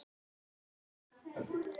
Andreas, hvað er á innkaupalistanum mínum?